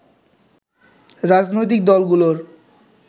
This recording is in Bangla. রাজনৈতিক দলগুলোর